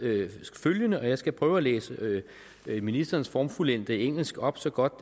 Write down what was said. følgende og jeg skal prøve at læse ministerens formfuldendte engelsk op så godt